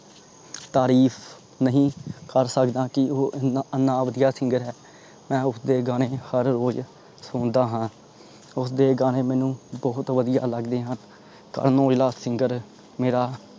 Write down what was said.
ਤਾਰੀਫ ਨਹੀਂ ਕਰ ਸਕਦਾ ਉਹ ਏਨਾ ਵਧੀਆ singer ਹੈਂ। ਮੈਂ ਉਸਦੇ ਗਾਣੇ ਹਰ ਰੋਜ ਸੁਣਦਾ ਹਾਂ। ਉਸਦੇ ਗਾਣੇ ਮੈਨੂੰ ਬਹੁਤ ਬਹੁਤ ਵਧੀਆ ਲੱਗਦੇ ਹਨ। ਕਰਨ ਔਜਲਾ singer ਮੇਰਾ